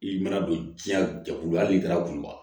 I mana don diɲɛ bolo hali n'i taara kuluba